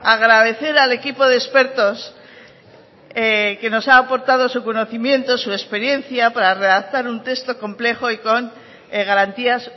agradecer al equipo de expertos que nos ha aportado su conocimiento su experiencia para redactar un texto complejo y con garantías